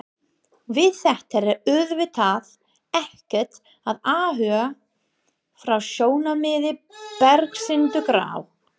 Við þetta er auðvitað ekkert að athuga frá sjónarmiði bersyndugra.